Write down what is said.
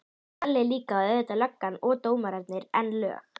Kalli líka, og auðvitað löggan og dómararnir, en lög